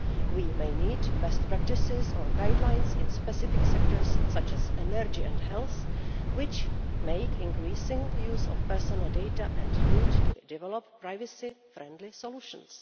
We may need best practices or guidelines in specific sectors such as energy and health, which make increasing use of personal data and need to develop privacy-friendly solutions.